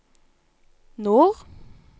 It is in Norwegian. nord